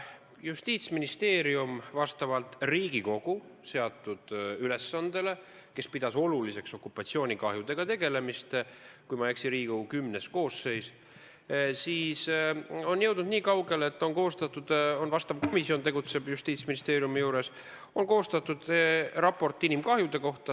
Justiitsministeerium vastavalt Riigikogu seatud ülesandele, kes pidas oluliseks okupatsioonikahjudega tegelemist – kui ma ei eksi, siis oli see Riigikogu X koosseis –, on jõudnud nii kaugele, et on koostatud – Justiitsministeeriumi juures tegutseb vastav komisjon – raport inimkahjude kohta.